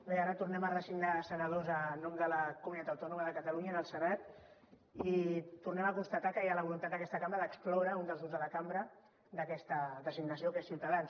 bé ara tornem a designar senadors en nom de la comunitat autònoma de catalunya en el senat i tornem a constatar que hi ha la voluntat d’aquesta cambra d’excloure un dels grups de la cambra d’aquesta designació que és ciutadans